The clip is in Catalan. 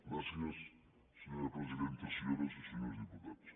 gràcies senyora presidenta senyores i senyors diputats